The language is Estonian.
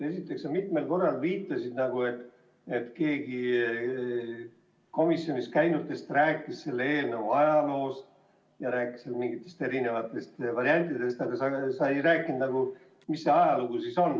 Esiteks, sa mitmel korral viitasid, et keegi komisjonis käinutest rääkis selle eelnõu ajaloost, rääkis mingitest erinevatest variantidest, aga sa ei rääkinud, mis see ajalugu siis on.